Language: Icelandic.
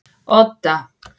Odda